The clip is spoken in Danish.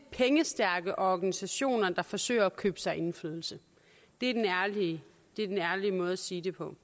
pengestærke organisationer der forsøger at købe sig til indflydelse det er den ærlige måde at sige det på